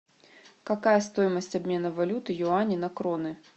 какая стоимость обмена валюты юани на кроны